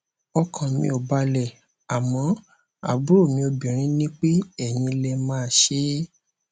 ọkàn mi ò balẹ àmọ àbúrò mi obinrin ní pé eyín lè máa ṣe é